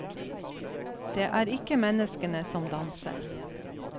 Det er ikke menneskene som danser.